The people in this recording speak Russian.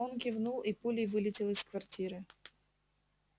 он кивнул и пулей вылетел из квартиры